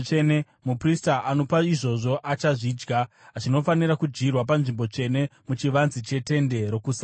Muprista anopa izvozvo achazvidya; zvinofanira kudyirwa panzvimbo tsvene muchivanze cheTende Rokusangana.